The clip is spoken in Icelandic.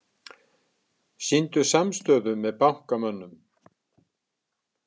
Sýndu samstöðu með bankamönnum